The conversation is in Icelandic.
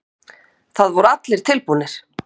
Það voru allir tilbúnir.